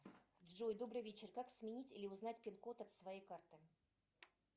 джой добрый вечер как сменить или узнать пин код от своей карты